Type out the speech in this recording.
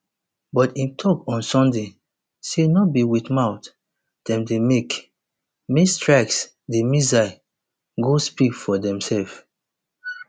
but im tok on sunday say no be wit mouth dem dey make make strikes di missiles go speak for demsef